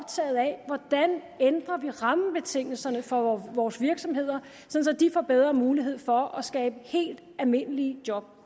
hvordan vi ændrer rammebetingelserne for vores virksomheder så de får bedre mulighed for at skabe helt almindelige job